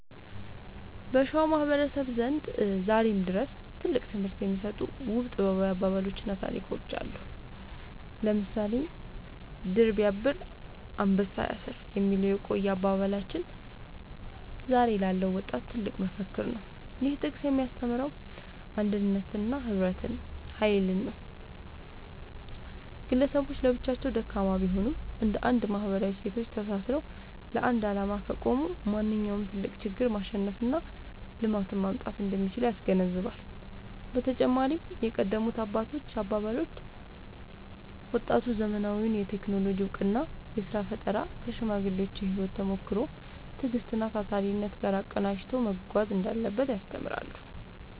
በሸዋ ማህበረሰብ ዘንድ ዛሬም ድረስ ትልቅ ትምህርት የሚሰጡ ውብ ጥበባዊ አባባሎችና ታሪኮች አሉ። ለምሳሌ «ድር ቢያብር አንበሳ ያስር» የሚለው የቆየ አባባላችን ዛሬ ላለው ወጣት ትልቅ መፈክር ነው። ይህ ጥቅስ የሚያስተምረው የአንድነትንና የህብረትን ኃይል ነው። ግለሰቦች ለብቻቸው ደካማ ቢሆኑም፣ እንደ አንድ ማህበራዊ እሴቶች ተሳስረው ለአንድ ዓላማ ከቆሙ ማንኛውንም ትልቅ ችግር ማሸነፍና ልማትን ማምጣት እንደሚችሉ ያስገነዝባል። በተጨማሪም የቀደሙት አባቶች አባባሎች፣ ወጣቱ ዘመናዊውን የቴክኖሎጂ እውቀትና የሥራ ፈጠራ ከሽማግሌዎች የህይወት ተሞክሮ፣ ትዕግስትና ታታሪነት ጋር አቀናጅቶ መጓዝ እንዳለበት ያስተምራሉ።